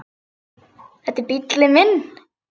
Þetta er bíllinn minn